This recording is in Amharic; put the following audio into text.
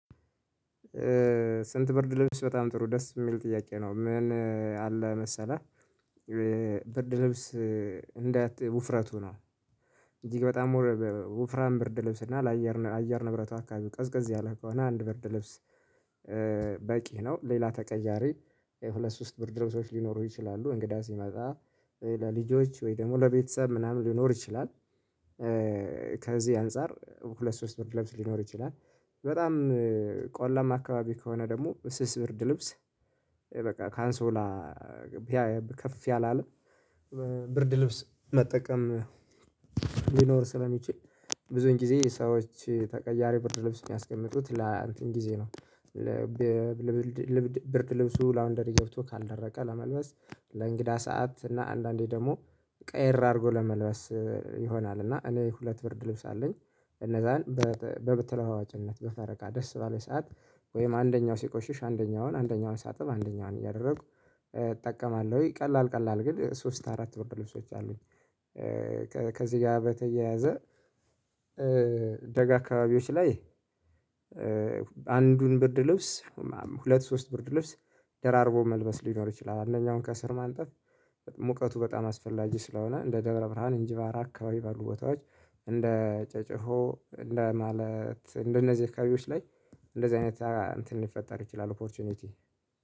ስንት ብርድ ልብስ በጣም ጥሩ ደስ የሚል ጥያቄ ነው? ምን አለ መሰለህ። ብርድ ልብስ እንዳት ውፍረቱ ነው። እጅግ በጣም ወፍራም ብርድ ልብስ እና ለአየር አየር ንብረት አካባቢ ቀዝቅዝ ያለ ከሆነ አንድ ብርድ ልብስ በቂ ነው። ሌላ ተቀያሪ ሁለት ሶስት ብርድልብሶች ሊኖሩ ይችላሉ። እንግዳ ሲመጣ ለልጆች ወይ ደግሞ ለቤተሰብ ምናምን ሊኖር ይችላል። ከዚህ አንፃር ሁለት ሶስት ብርድ ልብስ ሊኖር ይችላል። በጣም ቆለማ አካባቢ ከሆነ ደግሞ ስስ ብርድ ልብስ በቃ ካንሶላ ከፍ ያላለ ብርድ ልብስ መጠቀም። ሊኖር ስለሚችል ብዙን ጊዜ ሰዎች ተቀያሪ ብርድ ልብስ የሚያስቀምጡት ለአንተን ጊዜ ነው። ብርድ ልብሱ ላውንደሪ ገብቶ ካልደረቀ ለመልበስ ለእንግዳ ሰዓት እና አንዳንዴ ደግሞ ቀየር አድርጎ ለመልበስ ይሆናል። እና እኔ ሁለት ብርድ ልብስ አለኝ። እነዛን በተለዋዋጭነት በፈረቃ ደስ ባለኝ ሰዓት ወይም አንደኛው ሲቆሽሽ አንደኛውን አንደኛውን ሳጥብ አንደኛውን እያደረጉ እጠቀማለሁኝ። ቀላል ቀላል ግን ሶስት አራት ብርደ ልብሶች አሉኝ። ከዚህ ጋር በተያያዘ ደጋ አካባቢዎች ላይ አንዱን ብርድ ልብስ ሁለት ሶስት ብርድ ልብስ ደራርቦ መልበስ ሊኖር ይችላል። አንደኛውን ከስር ማንጠፍ ሙቀቱ በጣም አስፈላጊ ስለሆነ እንደ ደብረ ብርሃን እንጅባራ አካባቢ ባሉ ቦታዎች እንደ ጨጨቆ እንደ ማለት እንደነዚህ አካባቢዎች ላይ እንደዚህ አይነት እንትን ሊፈጠር ይችላል። ኦፖርቹኒቲ